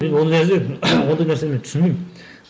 мен ол ондай нәрсені мен түсінбеймін